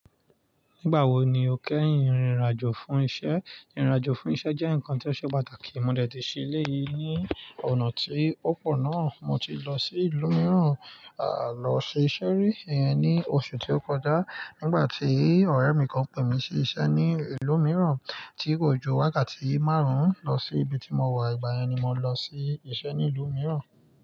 Nígbàwo ni o kẹ́yìn ìrìn àjò fún isẹ? Ìrìn àjò fún isẹ jẹ́ nǹkan tó ṣe pàtàkì. Mo dẹ̀ ti ṣí ilé yìí ní ọ̀nà tí ó pọ̀ náà. Mo ti lọ sí ìlú mìíràn, à, lọ ṣe iṣẹ́ rí, ẹ́, ní oṣù tí ó kọjá nígbà tí ọ̀rẹ́ mi kan pè mí sí isẹ́ ní ìlú mìíràn tí kò jọ wákàtí márùn-ún lọ sí ibi tí mo wà. Ìgbà yẹn ni mo lọ sí isẹ́ ní ìlú mìíràn.